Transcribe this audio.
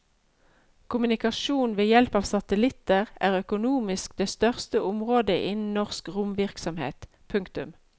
Kommunikasjon ved hjelp av satellitter er økonomisk det største området innen norsk romvirksomhet. punktum